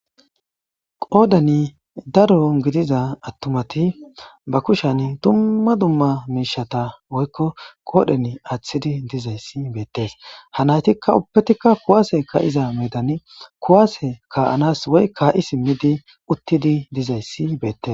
Qoddan daaro giddida attumati ba kushshan dumma dumma mishshata qodhdhen athidi dizayssi bettess ha nayittika ubbetikka kuwasse ka'ii simiddi uttidi dizayssi bettess.